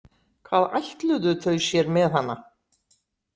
Hvað ætluðu þau sér með hana?